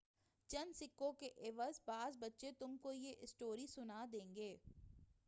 چند سکّوں کے عوض بعض بچے تم کو یہ اسٹوری سنا دیں گے